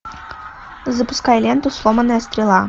запускай ленту сломанная стрела